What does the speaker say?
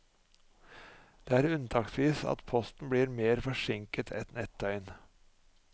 Det er unntaksvis at posten blir mer forsinket enn ett døgn.